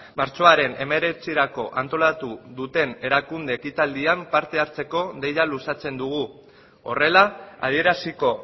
martxoaren hemeretzirako antolatu duten erakunde ekitaldian parte hartzeko deia luzatzen dugu horrela adieraziko